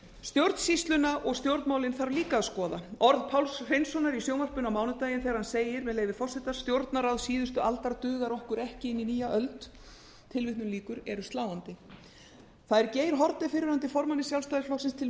stjórnsýsluna og stjórnmálin þarf líka að skoða orð páls hreinssonar í sjónvarpinu á mánudaginn þegar hann segir með leyfi forseta stjórnarráð síðustu aldar dugar okkur ekki inn í nýja öld eru sláandi það er geir haarde fyrrverandi formanni sjálfstæðisflokksins til